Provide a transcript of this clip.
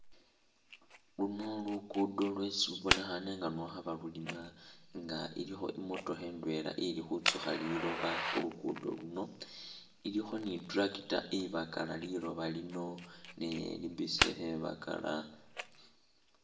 Luno luguudo lwesi lubonekhaane nga nwo khaba lulima nga ilikho i'motokha ndwela ili khutsukha liloba khu lugudo luno, ilikho ni i'tractor ibakala liloba lino nayo ili busy khebakala.